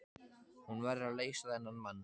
Hún verður að leysa þennan mann.